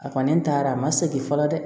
A kɔni taara a ma segin fɔlɔ dɛ